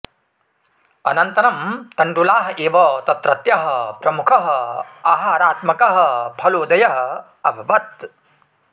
अनन्तरं तण्डुलाः एव तत्रत्यः प्रमुखः आहारात्मकः फलोदयः अभवत्